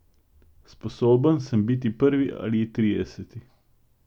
Sposoben sem biti prvi ali trideseti.